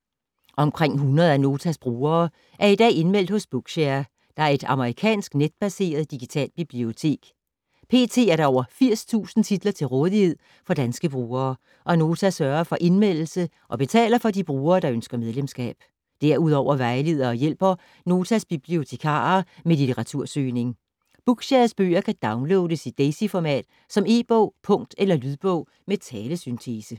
Omkring 100 af Notas brugere er i dag indmeldt hos Bookshare, der er et amerikansk netbaseret, digitalt bibliotek. Pt. er der over 80.000 titler til rådighed for danske brugere, og Nota sørger for indmeldelse og betaler for de brugere, der ønsker medlemskab. Derudover vejleder og hjælper Notas bibliotekarer med litteratursøgning. Bookshares bøger kan downloades i Daisyformat som e-bog, punkt eller lydbog med talesyntese.